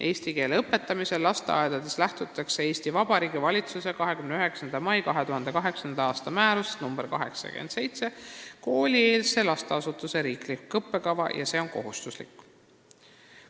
Eesti keele õpetamisel lasteaedades lähtutakse Eesti Vabariigi valitsuse 29. mai 2008. aasta määrusest nr 87 "Koolieelse lasteasutuse riiklik õppekava" ja see on kohustuslik.